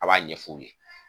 A b'a ɲɛ f'u ye.